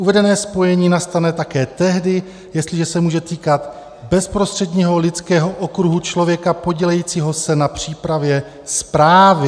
Uvedené spojení nastane také tehdy, jestliže se může týkat bezprostředního lidského okruhu člověka podílejícího se na přípravě zprávy.